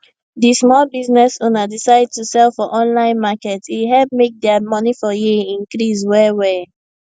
di small business owner decide to sell for online market e help make their money for year increase well well